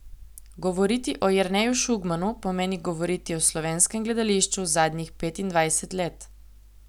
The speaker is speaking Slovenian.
Govoriti o Jerneju Šugmanu pomeni govoriti o slovenskem gledališču zadnjih petindvajsetih let.